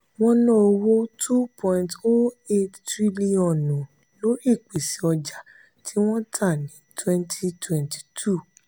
wọn ná owó n two point zero eight tiriliọnu lórí ìpèsè ọjà tí wọn tà ní twenty twenty two.